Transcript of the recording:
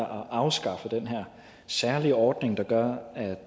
at afskaffe den særlige ordning der gør at